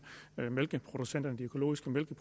producenterne af økologisk mælk